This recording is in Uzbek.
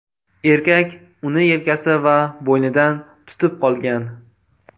Erkak uni yelkasi va bo‘ynidan tutib qolgan.